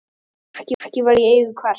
Hvaða frakki var í eigu hvers?